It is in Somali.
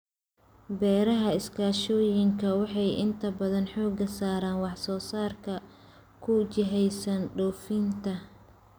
Beeraha iskaashatooyinka waxay inta badan xooga saaraan wax soo saarka ku jihaysan dhoofinta.